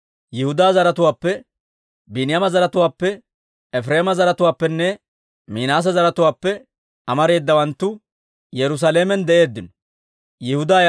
Yihudaa zaratuwaappe, Biiniyaama zaratuwaappe, Efireema zaratuwaappenne Minaase zaratuwaappe amareedawanttu Yerusaalamen de'eeddino.